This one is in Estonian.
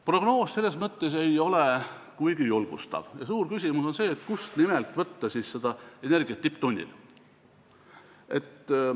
Prognoos ei ole selles mõttes kuigi julgustav ja suur küsimus on see, kust võtta energiat just tipptunnil.